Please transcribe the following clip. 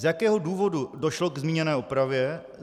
Z jakého důvodu došlo k zmíněné opravě?